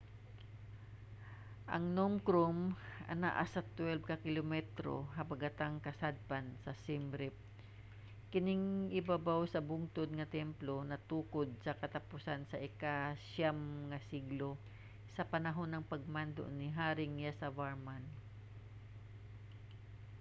ang phnom krom anaa sa 12 ka kilometro habagatang-kasadpan sa siem reap. kining ibabaw sa bungtod nga templo natukod sa katapusan sa ika-9 nga siglo sa panahon sa pagmando ni haring yasovarman